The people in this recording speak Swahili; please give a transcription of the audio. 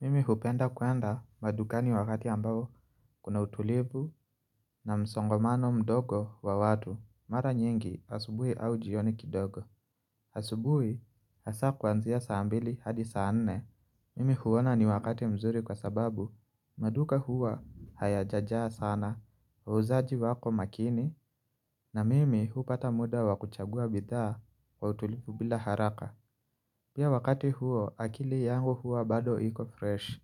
Mimi hupenda kwenda maduka ni wakati ambao kuna utulivu na msongomano mdogo wa watu Mara nyingi asubuhi au jioni kidogo asubuhi hasa kwanzia saambili hadi saa nne Mimi huwona ni wakati mzuri kwa sababu maduka huwa haya jaja sana Uzaaji wako makini na mimi hupata muda wakuchagua bidhaa kwa utulipu bila haraka Pia wakati huo akili yangu huwa bado hiko fresh